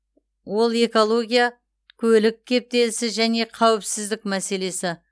ол экология көлік кептелісі және қауіпсіздік мәселесі